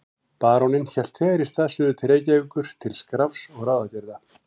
Baróninn hélt þegar í stað suður til Reykjavíkur til skrafs og ráðagerða.